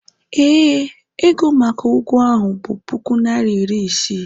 ee, ego maka ụgwọ ahụ bụ puku naịra iri isii